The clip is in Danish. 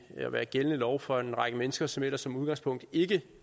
at være gældende lov for en række mennesker som ellers som udgangspunkt ikke